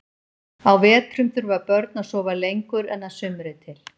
Á vetrum þurfa börn að sofa lengur en að sumri til.